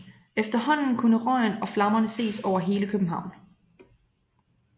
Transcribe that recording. Efterhånden kunne røgen og flammerne ses over hele København